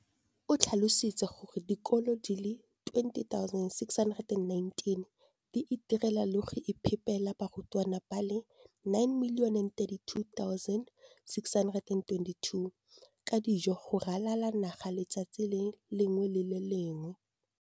o tlhalositse gore dikolo di le 20 619 di itirela le go iphepela barutwana ba le 9 032 622 ka dijo go ralala naga letsatsi le lengwe le le lengwe.